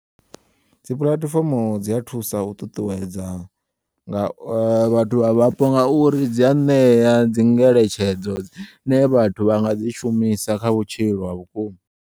Dzi pulatifomo dzi a thusa u ṱuṱuwedza nga vhathu vha vhapo ngauri dzi a ṋeya dzi ngeletshedzo dzine vhathu vhanga dzi shumisa kha vhutshilo ha vhukuma.